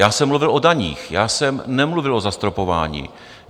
Já jsem mluvil o daních, já jsem nemluvil o zastropování.